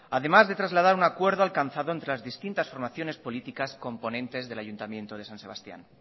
además de trasladar un acuerdo alcanzado entre las distintas formaciones políticas componentes del ayuntamiento de san sebastián